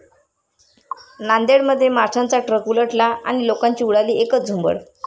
नांदेडमध्ये माशांचा ट्रक उलटला आणि लोकांची उडाली एकच झुंबड!